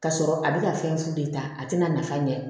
Ka sɔrɔ a bɛ ka fɛn fu de ta a tɛna nafa ɲɛ